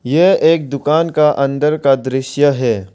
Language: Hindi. यह एक दुकान का अंदर का दृश्य है।